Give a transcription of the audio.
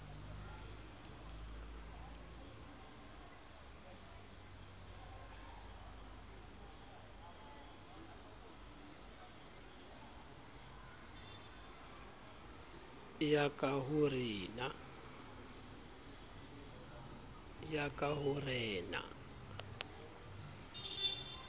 ya ka ho re na